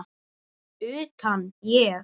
Utan, ég?